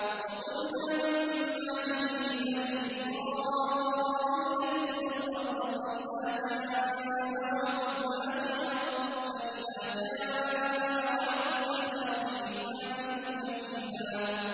وَقُلْنَا مِن بَعْدِهِ لِبَنِي إِسْرَائِيلَ اسْكُنُوا الْأَرْضَ فَإِذَا جَاءَ وَعْدُ الْآخِرَةِ جِئْنَا بِكُمْ لَفِيفًا